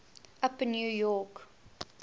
upper new york